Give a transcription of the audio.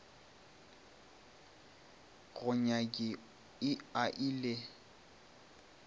go nyaki i a le